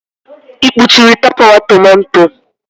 Ị kpuchiri tapawa tomato?